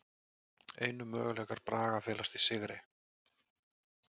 Einu möguleikar Braga felast í sigri